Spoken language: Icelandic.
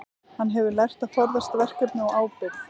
Hann hefur lært að forðast verkefni og ábyrgð.